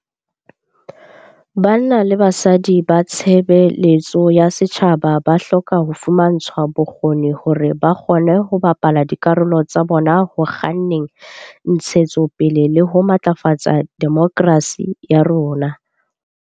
Banna le basadi ba tshebe letso ya setjhaba ba hloka ho fumantshwa bokgoni hore ba kgone ho bapala dikarolo tsa bona ho kganneng ntshe tsopele le ho matlafatsa de mokrasi ya rona.